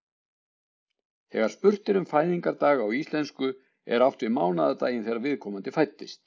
Þegar spurt er um fæðingardag á íslensku er átt við mánaðardaginn þegar viðkomandi fæddist.